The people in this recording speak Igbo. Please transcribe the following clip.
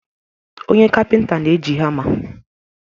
Onye kapịnta na-eji hama.